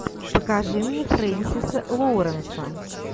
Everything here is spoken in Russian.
покажи мне френсиса лоуренса